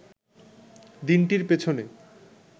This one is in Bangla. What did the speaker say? দিনটির পেছনে